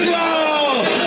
İranlı!